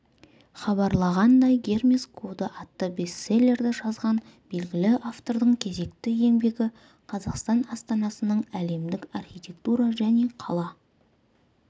хабарлағандай гермес коды атты бестселлерді жазған белгілі автордың кезекті еңбегі қазақстан астанасының әлемдік архитектура және қала